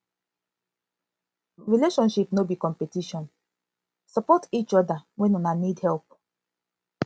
relationship no be competition support each other when una need help